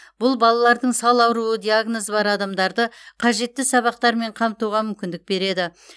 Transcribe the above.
бұл балалардың сал ауруы диагнозы бар адамдарды қажетті сабақтармен қамтуға мүмкіндік береді